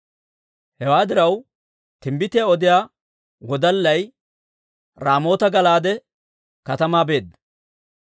Hewaa diraw, timbbitiyaa odiyaa wodallay Raamoota-Gala'aade katamaa beedda.